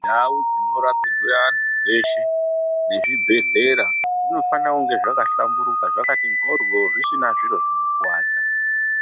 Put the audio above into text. Ndau dzinorapirwa antu dzeshe nezvibhedhlera zvinofanira kunge zvakahlamburuka zvakati mhoryoo zvisina zviro zvinokuvadza.